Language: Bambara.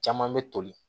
Caman bɛ toli